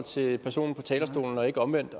til personen på talerstolen og ikke omvendt